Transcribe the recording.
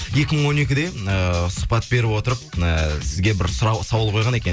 екі мың он екіде ыыы сұхбат бере отырып ы сізге бір сауал қойған екен